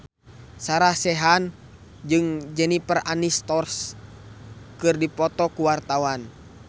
Sarah Sechan jeung Jennifer Aniston keur dipoto ku wartawan